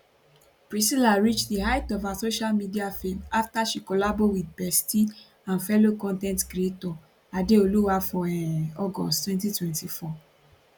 priscilla reach di height of her social media fame afta she collabo wit bestie and fellow con ten t creator adeoluwa for um august 2024